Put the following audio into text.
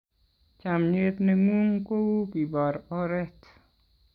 chamiet ne ng'un ko u kibor oret